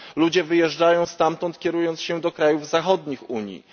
Ludzie wyjeżdżają stamtąd, kierując się do krajów zachodnich Unii.